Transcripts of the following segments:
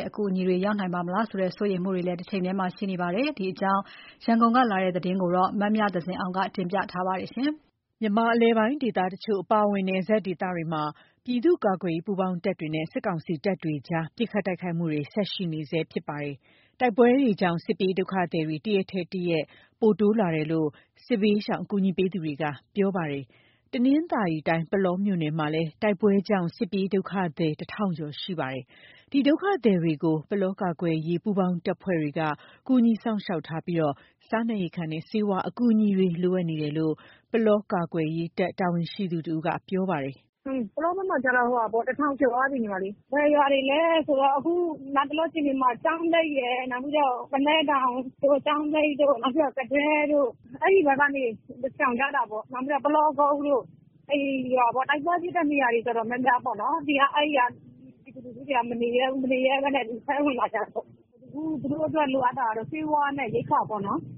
ဲ့ အကူအညီတွေအတွက် အဟန့်အတားဖြစ်နိုင်မလားဆိုတာ စိုးရိမ်မှုတွေရှိနေကြပါတယ်။ ရန်ကုန်က ပေးပို့တဲ့သတင်းကို မအင်ကြင်းနိုင်က တင်ပြပေးထားပါတယ်။ မြန်မာအလယ်ပိုင်းဒေသတချို့အပါအဝင် နယ်စပ်ဒေသတွေမှာ ပြည်သူ့ကာကွယ်ရေးပူးပေါင်းတပ်တွေနဲ့ စစ်ကောင်စီတပ်တွေအကြား ပစ်ခတ်တိုက်ခိုက်မှုတွေ ဆက်လက် ရှိနေဆဲဖြစ်ပါတယ်။ တိုက်ပွဲတွေကြောင့် စစ်ပြေးဒုက္ခသည်တွေ တရက်ထက် တရက် မြင့်တက်လာနေတာလို့ စစ်ပြေးရှောင်အကူအညီပေးသူတွေက ပြောပါတယ်။ တနင်္သာရီတိုင်း၊ ပုလောမြို့နယ်မှာလည်း တိုက်ပွဲကြောင့် စစ်ပြေးဒုက္ခသည် ၁,၀၀၀ ကျော်ရှိနေပါတယ်။ ဒီဒုက္ခသည်တွေကို ပုလောကာကွယ်ရေးပူးပေါင်းတပ်ဖွဲ့တွေက ကူညီစောင့်ရှောက်ထားပြီး စားနပ်ရိက္ခာနဲ့ ဆေးဝါးအကူအညီတွေ လိုအပ်နေကြောင်း ပုလောကာကွယ်ရေးတပ် တာဝန်ရှိသူတဦးက ပြောပါတယ်။ “ပုလောဘက်မှာကျတော့ ၁,၀၀၀ ကျော်သွားပြီ။ ဘယ်ရွာတွေလဲဆိုတော့ အခုလတ်တလောအခြေအနေမှာ ကျောင်းနိမ့်ရယ်၊ နောက်ပြီးတော့ ပုလဲတောင်။ နောက်ပြီး ကသဲတို့ အဲ့ဒီဘက်ကနေ လာရှောင်ကြတာပေါ့။ နောက်ပြီးတော့ ပုလောကုန်းတို့ အဲ့ရွာပေါ့။ တိုက်ပွဲဖြစ်တဲ့ နေရာတွေ တော်တော်များများပေါ့နော်။ အဲ့ဒီက ပြည်သူလူထုတွေက မနေရဲဘူး၊ မနေရဲဘဲနဲ့ အထဲဝင်လာကြတာပေါ့။ အခု သူတို့အတွက် လိုအပ်တာတော့ ဆေးဝါနဲ့ ရိက္ခာပေါ့နော်။”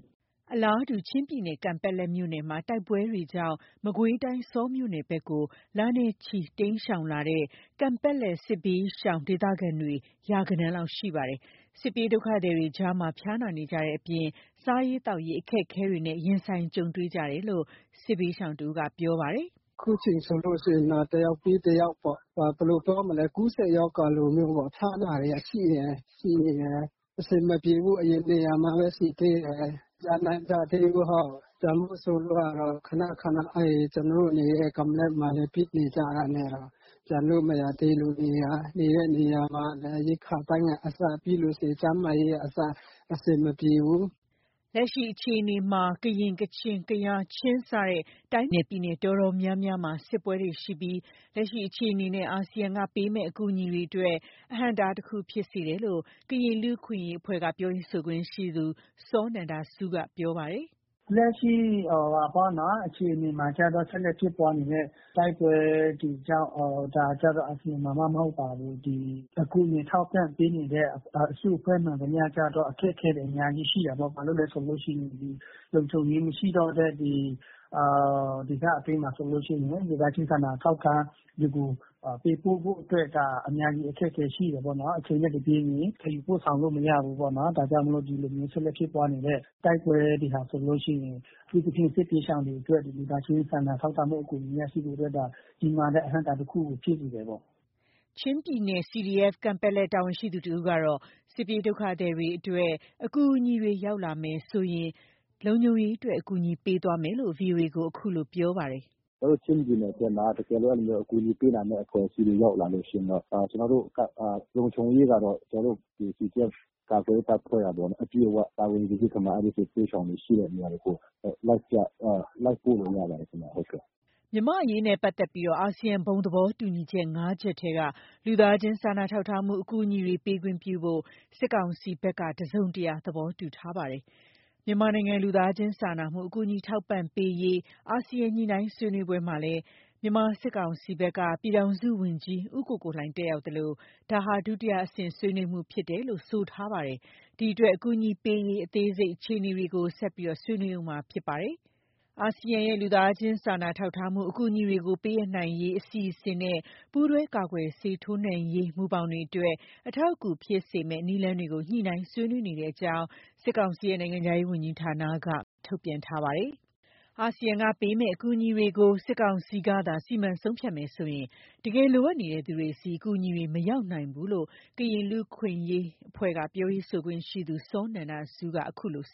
အလာတူ ချင်းပြည်နယ် ကန်ပတ်လက်မြို့နယ်မှာ တိုက်ပွဲတွေကြောင့် မကွေးတိုင်း ဆောမြို့နယ်ဘက်ကို လနဲ့ချီကြာအောင်တိမ်းရှောင်လာတဲ့ ကန်ပတ်လက်စစ်ပြေးရှောင် ဒေသခံတွေ ရာဂဏန်းလောက်ရှိပါတယ်။ စစ်ပြေးဒုက္ခသည်တွေကြား ဖျားနာနေကြတဲ့အပြင် စားရေးသောက်ရေးအခက်အခဲတွေနဲ့ ရင်ဆိုင်နေရတဲ့အကြောင်း စစ်ပြေးရှောင်တဦးက ပြောပါတယ်။ “အခုအချိန်ဆိုလို့ရှိရင်တော့ တယောက်ပြီးတယောက်ပေါ့။ ကူးစက်ရောဂါလိုမျိုးပေါ့ ဖျားနာတာတွေက ရှိနေတယ်။ အဆင်မပြေဘူးပေါ့။ အရင်နေရာမှာပဲ ရှိသေးတယ်။ မပြန်နိုင်ကြသေးဘူး ဟုတ်။ ပြန်ဖို့ဆိုလို့ကတော့ ခဏခဏ ကျနော်တို့ နေတဲ့ ကန်ပတ်လက်မှာလည်း ပစ်နေကြတာနဲ့တော့ ပြန်လို့မရသေးလို့။ အရင်နေတဲ့ နေရာမှာ ရိက္ခာပိုင်းကအစ ပြီးလို့ရှိရင် ကျန်းမာရေးကအစ အဆင်ပြေဘူး။” လက်ရှိအခြေအနေမှာ ကရင်၊ ကချင်၊ ကယား ချင်း စတဲ့ တိုင်းနဲ့ ပြည်နယ်အတော်များများမှာ စစ်ပွဲတွေရှိပြီး လက်ရှိအခြေအနေနဲ့ အာဆီယံက ပေးမယ့် အကူအညီတွေအတွက် အဟန့်အတားတခုဖြစ်စေတယ်လို့ ကရင်လူ့အခွင့်အရေးအဖွဲ့ က ပြောရေးဆိုခွင့်ရှိသူ စောနန္ဒဆူးက ပြောပါတယ်။ “လက်ရှိ အခြေအနေမှာကျတော့ ဆက်လက်ဖြစ်ပွားနေတဲ့ တိုက်ပွဲတွေကြောင့် အာဆီယံမှာမှမဟုတ်ပါဘူး။ ဒီအကူအညီထောက်ပံ့ပေးနေတဲ့ အစုအဖွဲ့ မှန်သမျှ ကျတော့ အခက်အခဲတွေ အများကြီးရှိတာပေ့ါ။ ဘာလို့လဲဆိုလို့ရှိရင် လုံခြုံရေးမရှိတော့တဲ့ ဒီဒေသအတွင်းမှာဆိုလို့ရှိရင် လူသားချင်းစာနာထောက်ထားမှုကို ပေးပို့ဖို့အတွက် ဒါ အများကြီးအခက်အခဲရှိတာပေါ့နော်။ အချိန်နဲ့တပြေးညီ သယ်ယူပို့ဆောင်လို့ မရဘူးပေါနော်။ ဒါကြောင့်မို့လို့ ဒီလိုမျိုးဆက်လက်ဖြစ်ပွားနေတဲ့ တိုက် ပွဲတွေဟာဆိုလို့ရှိရင် အထူးသဖြင့် စစ်ပြေးရှောင်တွေအတွက် ဒီလူသားချင်းစာနာ ထောက်ထားမှုအကူအညီနဲ့ စုပေးဖို့ ဒါ ကြီးမားတဲ့အဟန့်အတားတခုကို ဖြစ်စေတယ်ပေါ့။” ချင်းပြည်နယ် CDF ကန်ပတ်လက် တာဝန်ရှိသူတဦးကတော့ စစ်ပြေးဒုက္ခသည်တွေအတွက် အကူအညီတွေရောက်လာမယ်ဆိုရင် လုံခြုံရေးအတွက် အကူအညီပေးသွားမယ်လို့ ဗွီအိုအေကို အခုလို ပြောပါတယ်။ “ကျနော်တို့ ချင်းပြည်နယ်ထဲမှာ တကယ်လို့ အဲ့လိုမျိုးအကူအညီပေးနိုင်မယ့် အဖွဲ့ အစည်းတွေ ရောက်လာလို့ရှိရင်တော့ လုံခြုံရေးကတော့ ကျနော်တို့ ဒီ CDF ကာ ကွယ်ရေးတပ်ဖွဲ့ကပေါ့နော် အပြည့်အဝ တာဝန်ယူပြီးခါမှ အဲ့ဒီစစ်ဘေးရှောင်တွေ ရှိတဲ့နေရာတွေကို လိုက်ပြလိုက်ပို့လို့ရပါတယ်ခင်ဗျ ဟုတ်ကဲ့။” မြန်မာ့အရေးနဲ့ ပတ်သက်ပြီး အာဆီယံဘုံသဘောတူညီချက် ၅ ချက်ထဲက လူသားချင်းစာနာထောက်ထားမှု အကူအညီတွေ ပေးခွင့်ပြုဖို့ စစ်ကောင်စီဘက်ကလည်း တစုံတရာသဘောတူထားပါတယ်။ မြန်မာနိုင်ငံ လူသားချင်းစာနာကူညီမှုအထောက်အပံ့ပေးရေး အာဆီယံညှိနှိုင်းဆွေးနွေးပွဲမှာလည်း မြန်မာစစ်ကောင်စီဘက်က ပြည်ထောင်စုဝန်ကြီး ဦးကိုကိုလှိုင်တက်ရောက်သလို ဒါဟာ ဒုတိယအဆင့် ဆွေးနွေးမှုဖြစ်တယ်လို့ဆိုထားပါတယ်။ ဒီအတွက် အကူအညီပေးရေး အသေးစိတ်အခြေအနေတွေ ဆက်ဆွေးနွေးရဦးမှာဖြစ်ပါတယ်။ အာဆီယံရဲ့ လူသားချင်းစာနာထောက်ထားမှု အကူအညီတွေကို ပေးအပ်နိုင်ရေး အစီအစီနဲ့ ပူးတွဲကာကွယ်ဆေးထိုးနှံပေးရေးမူဘောင်တွေအတွက် အထောက်အကူဖြစ်စေမယ့် နည်းလမ်းတွေ ညှိနှိုင်း ဆွေးနွေးနေကြောင်း စစ်ကောင်စီရဲ့ နိုင်ငံခြားရေးဝန်ကြီးဌာနက မနေ့က ထုတ်ပြန်ထားပါတယ်။ အာဆီယံက ပေးမယ့် အကူအညီတွေကို စစ်ကောင်စီကသာ စီမံဆုံးဖြတ်မယ်ဆိုရင် တကယ်လိုအပ်နေတဲ့သူတွေဆီ အကူအညီတွေ မရောက်နိုင်ဘူးလို့ ကရင်လူ့ အခွင့်အရေး ကရင်လူ့အခွင့်အရေးအဖွဲ့ က ပြောရေးဆိုခွင့်ရှိသူ စောနန္ဒဆူးက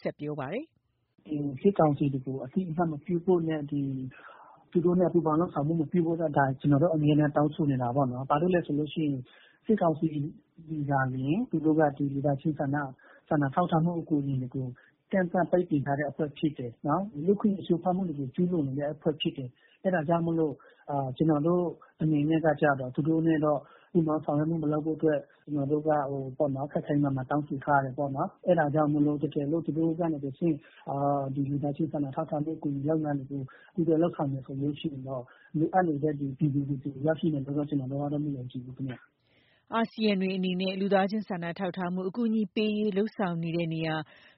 ဆက်ပြောပါတယ်။ “စစ်ကောင်စီတွေကို အသိအမှတ်မပြုဖို့နဲ့ သူတို့နဲ့ ပူးပေါင်းလုပ်ဆောင်မှုမပြုဖို့ ဒါ ကျနော်တို့ အမြဲတမ်းတောင်းဆိုနေတာပေါ့နော်။ ဘာလို့လဲဆိုလို့ရှိရင် စစ်ကောင်စီသည်သာလျှင် သူတို့က ဒီလူသားချင်းစာနာထောက်ထားမှုအကူအညီတွေကို ကန့်သတ်ပိတ်ပင်တဲ့အဖွဲ့ ဖြစ်တယ်နော်။ လူ့အခွင့်အရေးချိုးဖောက်မှုတွေကို ကျူးလွန်နေတဲ့ အဖွဲ့ဖြစ်တယ်။ အဲ့ဒါကြောင့်မို့ သူတို့နဲ့တော့ ပူးပေါင်းဆောင်ရွက်မှု မလုပ်ဖို့ ကျနော်တို့က ခိုင်ခိုင်မာမာတောင်းဆိုထားတယ်ပေါ့နော်။ အဲ့ဒါကြောင့်မို့လို့ တကယ်လို့ သူတို့ကနေတဆင့် ဒီလူသားချင်းစာနာထောက်ထားမှု အကူအညီလုပ်ငန်းတွေကို ပူးတွဲလုပ်ဆောင်တယ်ဆိုလို့ရှိရင်တော့ လိုအပ်နေတဲ့ ဒီပြည်သူလူထုဆီရောက်ရှိနိုင်မယ်လို့ ကျနော်တို့ကတော့ မယုံကြည်ဘူးခင်ဗျ။” အာဆီယံတွေအနေနဲ့ လူသားချင်စာနာထောက်ထားမှု အကူအညီပေးရေး လုပ်ဆောင်တဲ့နေရာ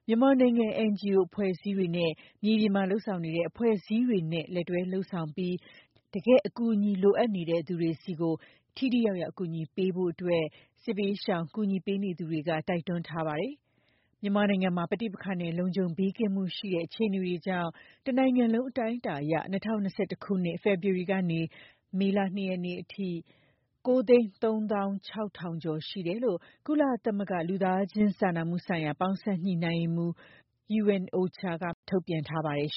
မြန်မာနိုင်ငံ NGO အဖွဲ့အစည်းတွေနဲ့ မြေပြင်မှာ လုပ်ဆောင်နေတဲ့ အဖွဲ့အစည်းတွေနဲ့ လက်တွဲလုပ်ဆောင်ပြီး တကယ့်အကူအညီလိုအပ်နေတဲ့ သူတွေဆီ ထိထိရောက်ရောက် အကူအညီပေးဖို့အတွက် စစ်ပြေးရှောင်ကူညီပေးသူတွေက တိုက်တွန်းထားပါတယ်။ မြန်မာနိုင်ငံမှာ ပဋိပက္ခနဲ့ လုံခြုံဘေးကင်းမှုမရှိတဲ့ အခြေအနေတွေကြောင့် တနိုင်ငံလုံးအတိုင်းအတာအရ ၂၀၂၁ ခုနှစ် ဖေဖော်ဝါရီလ ကနေ ယခုနှစ် မေလ ၂ ရက်နေ့အထိ ၉၃၆,၇၀၀ ဦး ရှိတယ်လို့ ကုလသမဂ္ဂ လူသားချင်းစာနာမှုဆိုင်ရာပေါင်းစပ်ညှိနှိုင်းရေးရုံး က မနေ့က ထုတ်ပြန်ထားပါတယ်။